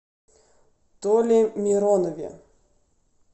толе миронове